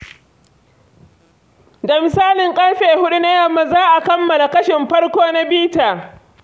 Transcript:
Da misalin ƙarfe huɗu na yamma za a kammala kashin farko na bitar.